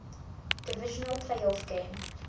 divisional playoff game